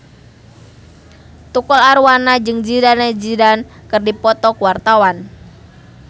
Tukul Arwana jeung Zidane Zidane keur dipoto ku wartawan